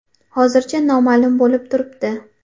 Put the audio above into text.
Hozircha noma’lum bo‘lib turibdi”.